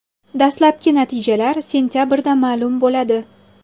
Dastlabki natijalar sentabrda ma’lum bo‘ladi.